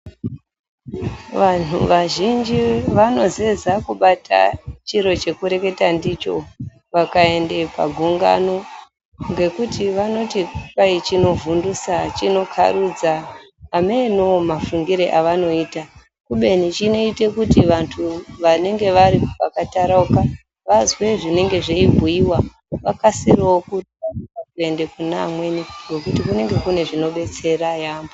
Vantu vazhinji vanosiza kubata chiro chekureketa ndicho vakaende pagungano ngekuti vanoti kudai chinovhundutsa, chinokarudza, hameno mafungiro avanoita, kubeni chinoita kuti vantu vanenge vari pakatarauka vazwe zvinenge zveibhuyiwa vakasirewo kuenda kune amweni nokuti kunenge kune zvinodetsera yambo.